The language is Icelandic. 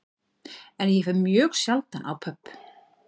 En ég fer mjög sjaldan á pöbb